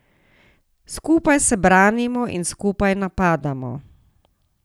Skupaj se branimo in skupaj napadamo.